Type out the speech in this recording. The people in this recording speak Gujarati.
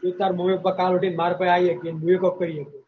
તું અને તારા મમ્મી પપ્પા કાલ ઉઠીને મારાં ઉપર આવી શકી અને મુ એ કોક કઈ શકું.